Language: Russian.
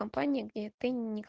компания